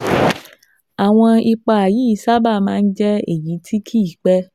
Àwọn ipa yìí sábà máa ń jẹ́ èyí tí kì í pé